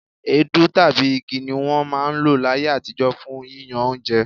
Èédú tàbí igi ni wọ́n máa ń lò láyé àtijọ́ fún yíyán oúnjẹ.